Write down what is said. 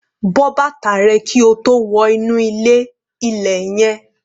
Bọ́ bàtà rẹ kí o tó wọ inú ilé-ilẹ̀ yẹn